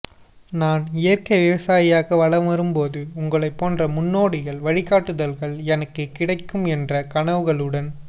நான் இயற்க்கை விவசாயியாக வளரும்போது உங்களைபோன்ற முன்னோடிகள் வழிகாட்டுதல்கள் எனக்கு கிடைக்கும் என்ற கனவுகளுடன்